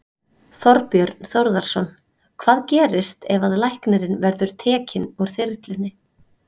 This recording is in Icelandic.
Þorbjörn Þórðarson: Hvað gerist ef að læknirinn verður tekinn úr þyrlunni?